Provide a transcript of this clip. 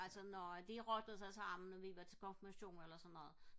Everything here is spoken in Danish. ja altså når de lige rottede sig sammen og vi var til konfirmation eller sådan noget